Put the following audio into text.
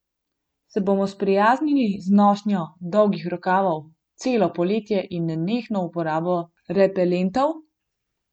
Se bomo sprijaznili z nošnjo dolgih rokavov celo poletje in nenehno uporabo repelentov?